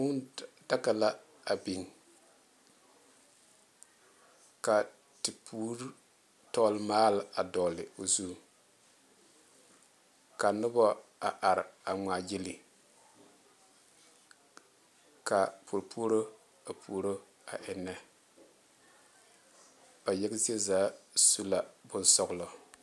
Kūūdaga la a biŋ ka tepure tɔgle maale dogle o zu ka noba a are ŋmaa gyile ka puo puoro a puoro a eŋe ba yaga zie zaa su la bonsɔglɔ.